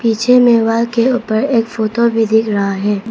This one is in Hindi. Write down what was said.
पीछे में वॉल के ऊपर एक फोटो भी दिख रहा है।